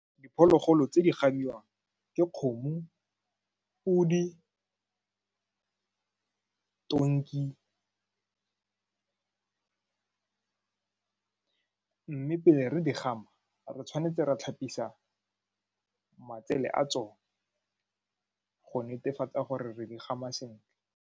Diphologolo tse di gamiwang ke kgomo, podi, tonki mme pele re di gama re tshwanetse ra tlhapisa matsele a tsone go netefatsa gore re di gama sentle.